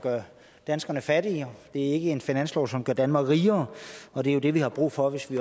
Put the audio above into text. gør danskerne fattigere det er ikke en finanslov som gør danmark rigere og det er jo det vi har brug for hvis vi